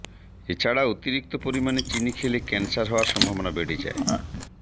এছাড়া অতিরিক্ত পরিমাণে চিনি খেলে ক্যানসার হওয়ার সম্ভাবনা বেড়ে যায়